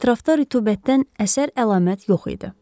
Ətrafda rütubətdən əsər-əlamət yox idi.